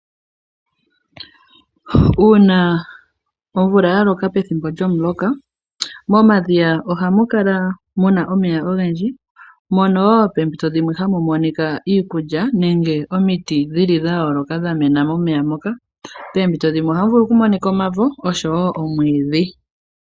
Uuna omvula yaloka pethimbo lyomuloka, momadhiya ohamu kala muna omeya ogendji, mono wo peempito dhimwe hamu monika iikulya, nenge omiti dhi li dha yooloka dhamena momeya mono. Peempito dhimwe ohamu vulu oku monika omavo, oshowo omwiidhi.